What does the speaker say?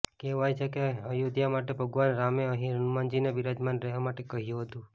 કહેવાય છે કે અયોધ્યા માટે ભગવાન રામે અહિં હનુમાનજીને બિરાજમાન રહેવા માટે કહ્યું હતું